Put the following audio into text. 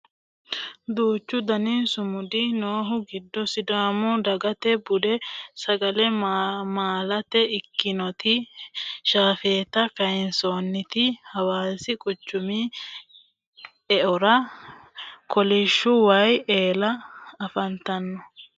duuchu dani summudi noohu giddo sidaamu dagata budu sagale malaate ikkitinoti shafeeta kayinsoonniti hawaasi quchumi eora kolishshu waye eela afantannote